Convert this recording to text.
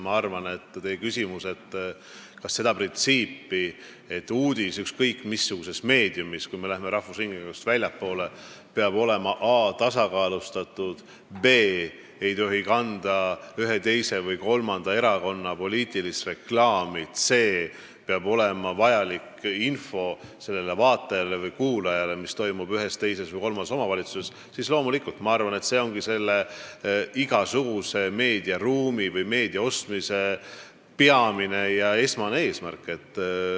Ma arvan, et sellised printsiibid, et uudis ükskõik missuguses meediumis peab olema a) tasakaalustatud, b) ei tohi kanda ühe, teise või kolmanda erakonna poliitilist reklaami, c) peab olema vajalik info vaatajale või kuulajale, et ta teaks, mis toimub ühes, teises või kolmandas omavalitsuses, ongi loomulikult igasuguse meediaruumi või meediasisu ostmise peamine, esmane eesmärk.